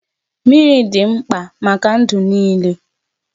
Mmiri dị mkpa maka ndụ niile.